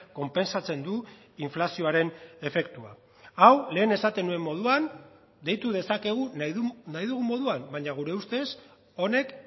konpentsatzen du inflazioaren efektua hau lehen esaten nuen moduan deitu dezakegu nahi dugun moduan baina gure ustez honek